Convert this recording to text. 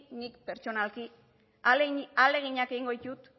nik pertsonalki ahaleginak egingo ditut